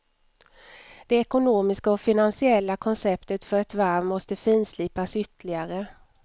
Det ekonomiska och finansiella konceptet för ett varv måste finslipas ytterligare.